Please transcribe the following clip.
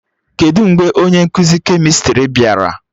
Kedụ mgbe onye nkụzi kemịstrị bịara?